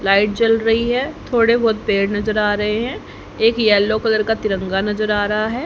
Light जल रही है थोड़े बहोत पेड़ नज़र आ रहे हैं एक येलो कलर का तिरंगा नज़र आ रहा है।